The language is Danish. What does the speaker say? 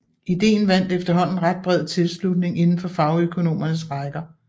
Ideen vandt efterhånden ret bred tilslutning indenfor fagøkonomernes rækker